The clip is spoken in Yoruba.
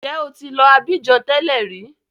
Ǹjẹ́ o ti lọ Abidjan tẹ́lẹ̀ rí?